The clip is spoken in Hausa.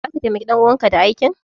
Zaka taimaki ɗan uwanka da aikin?